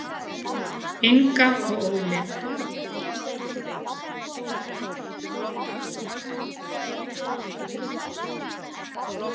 Inga og Óli.